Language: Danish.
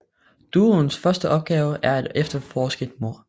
Duoens første opgave er at efterforske et mord